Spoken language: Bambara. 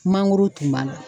Mangoro tun b'a la